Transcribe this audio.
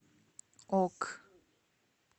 ок